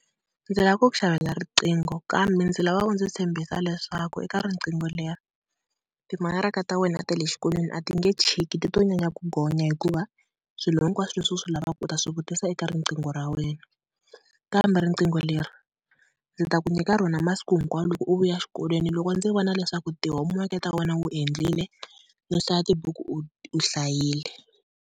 Ndzi lava ku ku xavela riqingho kambe ndzi lava u ndzi tshembisa leswaku eka riqingho leri timakaraka ta wena ta le xikolweni a ti nge chiki ti to nyanya ku gonya, hikuva swilo hinkwaswo leswi u swi lavaka u ta swi vutiso eka riqingho ra wena. Kambe riqingho leri ndzi ta ku nyika rona masiku hinkwawo loko u vuya xikolweni loko ndzi vona leswaku ti-homework-i ta wena u endlile no hlaya tibuku u hlayile.